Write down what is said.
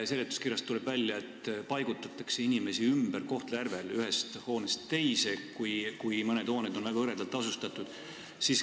Seletuskirjast tuleb välja, et Kohtla-Järvel paigutatakse inimesi ümber ühest hoonest teise, kui mõned hooned on väga hõredalt asustatud.